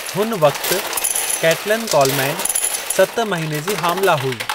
हुन वक़्ति Katelyn Coleman सतु महीने जी हामिला हुई।